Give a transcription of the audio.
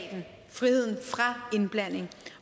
friheden